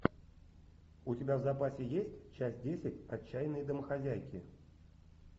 у тебя в запасе есть часть десять отчаянные домохозяйки